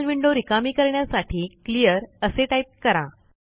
terminal window रिकामी करण्यासाठी clear असे टाईप करा